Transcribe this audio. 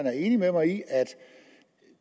er enig med mig i at